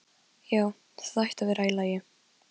Það er ekkert eins og þú heldur.